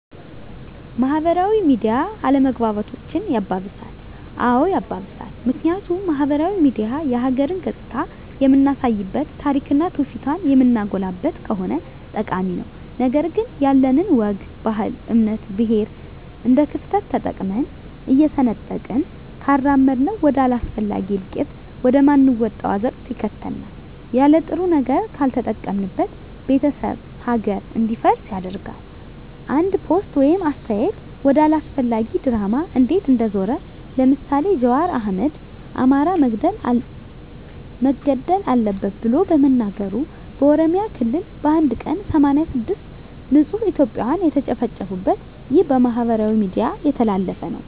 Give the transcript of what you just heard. ማህበራዊ ሚዲያ አለመግባባቶችን ያባብሳል? አዎ ያባብሳል ምክንያቱም ማህበራዊ ሚዲያ የሀገርን ገፅታ የምናሳይበት ታሪክና ትውፊቷን የምናጎላበት ከሆነ ጠቃሚ ነው ነገር ግን ያለንን ወግ ባህል እምነት ብሔር እንደክፍተት ተጠቅመን እየሰነጠቅን ካራመድነው ወደ አላስፈላጊ እልቂት ወደ ማንወጣው አዘቅት ይከተናል የለጥሩ ነገር ካልተጠቀምንበት ቤተሰብ ሀገር እንዲፈርስ ያደርጋል አንድ ፖስት ወይም አስተያየት ወደ አላስፈላጊ ድራማ እንዴት እንደዞረ ለምሳሌ ጃዋር አህመድ አማራ መገደል አለበት ብሎ በመናገሩ በኦሮሚያ ክልል በአንድ ቀን 86 ንፁህ እትዮጵያን የተጨፈጨፉበት ይህ በማህበራዊ ሚዲያ የተላለፈ ነው